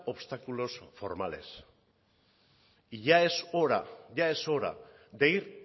obstáculos formales y ya es hora ya es hora de ir